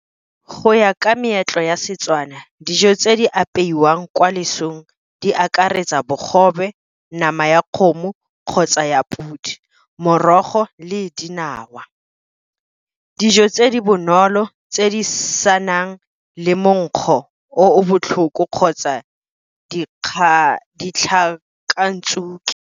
Go ya ka meetlo ya Setswana dijo tse di apeiwang kwa lesong, di akaretsa bogobe, nama ya kgomo kgotsa ya podi, morogo le dinawa. Dijo tse di bonolo tse di senang le monkgo o botlhoko kgotsa ditlhakantsuke.